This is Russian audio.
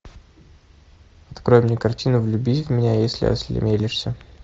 открой мне картину влюбись в меня если осмелишься